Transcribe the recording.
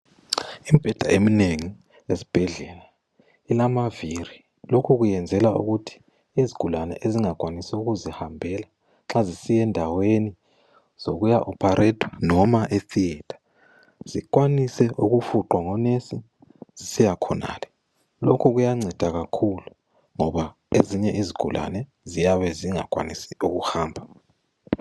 Imibheda eminengi yesibhedlela ilamaviri. Lokhu kuyenzelwa ukuthi izigulane ezingakwanisi ukuzihambela nxa zisiya endaweni yokuya oparetwa noma e theater zikwanise ukufuqwa ngonesi zisiyakhonale. Lokhu kuyanceda kakhulu ngoba ezinye izigulane ziyabe zingakwanisi ukuhamba.